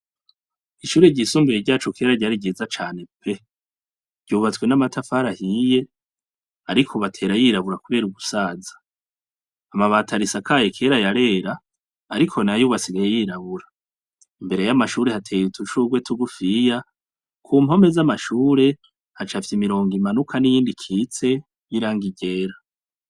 Ishure ryisumbuye ryacu kera ryari ryiza cane pe! Ryubatswe n'amatafari ahiye ariko ubu atera yirabura kubera ugusaza. Amabati arisakaye kera yarera, ariko nayo ubu asigaye yirabura. Imbere y'amashure hateye udushurwe tugufiya, ku mpome z'amashure hacafye imirongo imanuka n'iyindi ikitse y'irangi ryera.